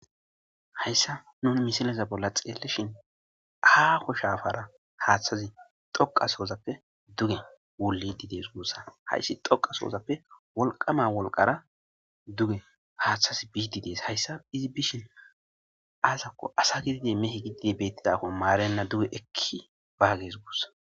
Hayssa nuuni misilezappe tseelishshin aho shafara haaththasi toqqa sohoppe dugen woliidi dees gussa, hayssi tokka sohappe wolqqama wolqqara dugen haaththasi bidi dees. Ha issa izi bishiin asako asata giddide mitha giddide betidakkone maarenna dugen ekki biges gussa.